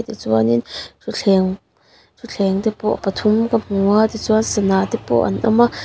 tichuain thutthleng thutthleng te pawh pathum ka hmu a tichuan sana te pawh an awm a--